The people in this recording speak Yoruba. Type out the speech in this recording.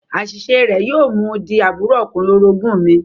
Àṣiṣe rẹ̀ yóò mú u di àbúrò ọkùnrin orogún mi